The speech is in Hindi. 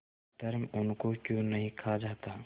अधर्म उनको क्यों नहीं खा जाता